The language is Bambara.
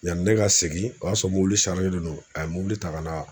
Yanni ne ka segin o y'a sɔrɔ mobili don a ye mobili ta ka na